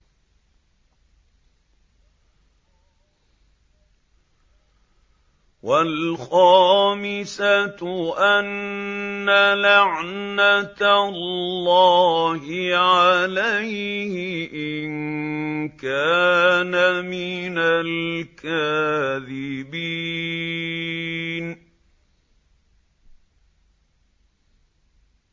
وَالْخَامِسَةُ أَنَّ لَعْنَتَ اللَّهِ عَلَيْهِ إِن كَانَ مِنَ الْكَاذِبِينَ